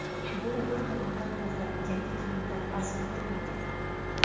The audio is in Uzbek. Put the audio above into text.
Bu bir tomondan to‘g‘ri, yangi kiyimlar arzon turmaydi.